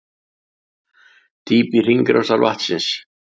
Dýpi hringrásar vatnsins